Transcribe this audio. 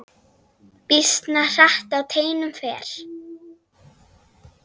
Býsna hratt á teinum fer.